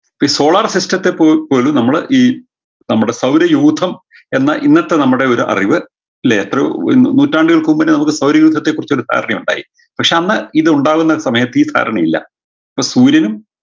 ഈ solar system ത്തെ പോ പോലും നമ്മള് ഈ നമ്മുടെ സൗരയൂധം എന്ന ഇന്നത്തെ നമ്മുടെ ഒരു അറിവ് ല്ലേ എത്രയോ നൂറ്റാണ്ടുകൾക്ക് മുമ്പേന്നെ നമുക്ക് സൗരയൂധത്തെ കുറിച്ചൊരു ധാരണയുണ്ടായി പക്ഷെ അന്ന് ഇതുണ്ടാവുന്ന സമയത്ത് ഈ ധാരണ ഇല്ല ന്ന് സൂര്യനും